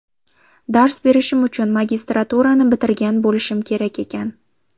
Dars berishim uchun magistraturani bitirgan bo‘lishim kerak ekan.